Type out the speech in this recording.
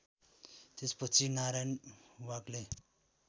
त्यसपछि नारायण वाग्ले